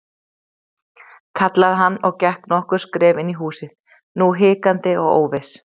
kallaði hann og gekk nokkur skref inn í húsið, nú hikandi og óviss.